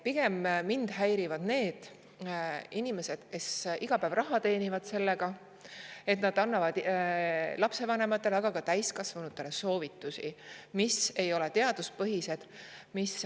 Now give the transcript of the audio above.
Pigem häirivad mind need inimesed, kes teenivad iga päev raha sellega, et nad annavad lapsevanematele, aga ka täiskasvanutele soovitusi, mis ei ole teaduspõhised.